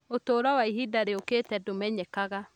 Ũtũũro wa ihinda rĩũkĩte ndũmenyekaga